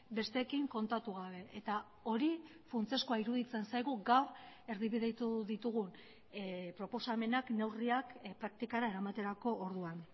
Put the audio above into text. besteekin kontatu gabe eta hori funtsezkoa iruditzen zaigu gaur erdibidetu ditugun proposamenak neurriak praktikara eramaterako orduan